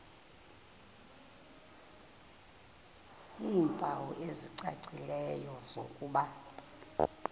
iimpawu ezicacileyo zokuba